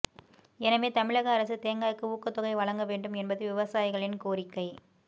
எனவே தமிழக அரசு தேங்காய்க்கு ஊக்கத்தொகை வழங்க வேண்டும் என்பது விவசாயிகளின் கோரிக்கை